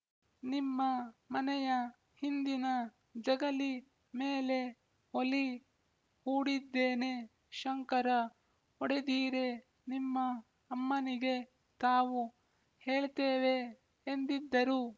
ನಿಮ್ಮ ಮನೆಯ ಹಿಂದಿನ ಜಗಲೀ ಮೇಲೇ ಒಲೀ ಹೂಡಿದ್ದೇನೆ ಶಂಕರ ಒಡೆದೀರೇ ನಿಮ್ಮ ಅಮ್ಮನಿಗೆ ತಾವು ಹೇಳ್ತೇವೆ ಎಂದಿದ್ದರು